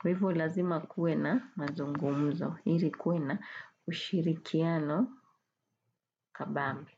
Kwa hivo lazima kuwe na mazungumzo, ili kuwe na ushirikiano kabambe.